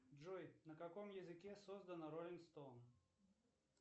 джой на каком языке создана роллинг стоун